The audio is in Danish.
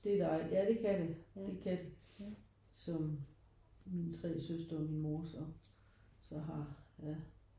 Det er dejligt ja det kan det det kan det. Som mine tre søstre og min mor så så har ja